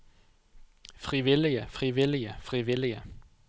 frivillige frivillige frivillige